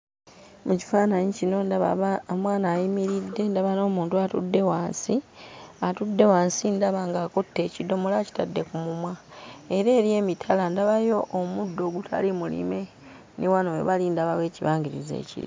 Mu kifaananyi kino ndaba ba omwana ayimiridde, ndaba n'omuntu atudde wansi. Atudde wansi ndaba ng'akutte ekidomola akitadde ku mumwa era eri emitala ndabayo omuddo ogutali mulime ne wano we bali ndabawo ekibangirizi eki...